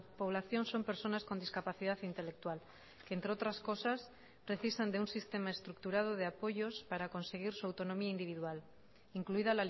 población son personas con discapacidad intelectual que entre otras cosas precisan de un sistema estructurado de apoyos para conseguir su autonomía individual incluida